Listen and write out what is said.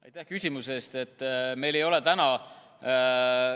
Aitäh küsimuse eest!